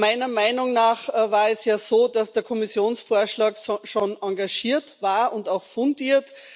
Meiner Meinung nach war es ja so, dass der Kommissionsvorschlag schon engagiert war und auch fundiert.